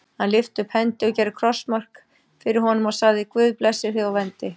Hann lyfti upp hendi og gerði krossmark fyrir honum og sagði:-Guð blessi þig og verndi.